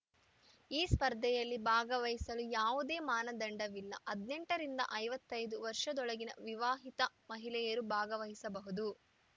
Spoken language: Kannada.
ಈ ಸ್ಪರ್ಧೆಯಲ್ಲಿ ಭಾಗವಹಿಸಲು ಯಾವುದೇ ಮಾನದಂಡವಿಲ್ಲ ಹದಿನೆಂಟು ರಿಂದ ಐವತ್ತೈದು ವರ್ಷದೊಳಗಿನ ವಿವಾಹಿತ ಮಹಿಳೆಯರು ಭಾಗವಹಿಸಬಹುದು